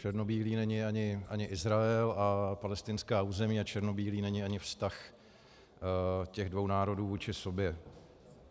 Černobílý není ani Izrael a palestinská území a černobílý není ani vztah těch dvou národů vůči sobě.